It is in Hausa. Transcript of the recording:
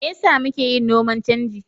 Me yasa muke yin noman canji?